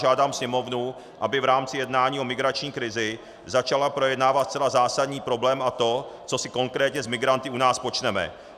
Žádám Sněmovnu, aby v rámci jednání o migrační krizi začala projednávat zcela zásadní problém, a to, co si konkrétně s migranty u nás počneme.